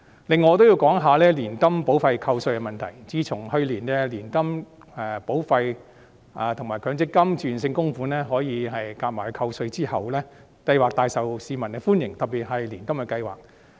此外，我亦會談談年金保費扣稅的問題，自從去年年金保費及強積金自願性供款可以合計扣稅後，有關計劃廣受市民歡迎，特別是年金計劃。